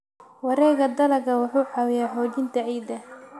Wareegga dalagga wuxuu caawiyaa xoojinta ciidda.